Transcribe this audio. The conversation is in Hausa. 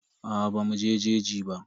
Aa bamu je jeji ba.